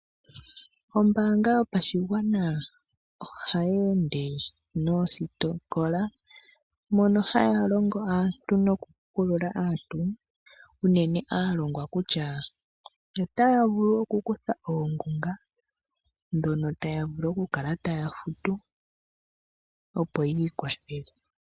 Ombaanga yopashigwana ohaye ende noosikola mono haya longo aantu nokupukulula aantu unene aalongwa kutya otaya vulu woo okukutha oongunga, ndhono taya vulu okukala taya futu opo yi ikwathele.